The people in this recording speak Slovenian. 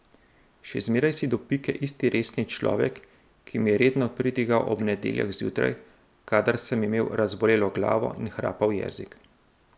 Še zmeraj si do pike isti resni človek, ki mi je redno pridigal ob nedeljah zjutraj, kadar sem imel razbolelo glavo in hrapav jezik.